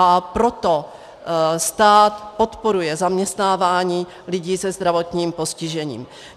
A proto stát podporuje zaměstnávání lidí se zdravotním postižením.